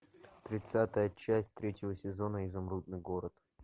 тридцатая часть третьего сезона изумрудный город